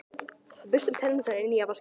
Við burstum tennurnar í nýja vaskinum.